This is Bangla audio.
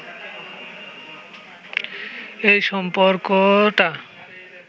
এই সম্পর্কটা